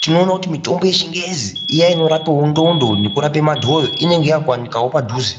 tinoona kuti mitombo yechingezi iya inorapa ndxondo nekurapa madhoyo inenge yakuwanikwawo padhuze.